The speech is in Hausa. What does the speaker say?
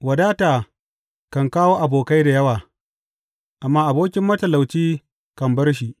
Wadata kan kawo abokai da yawa, amma abokin matalauci kan bar shi.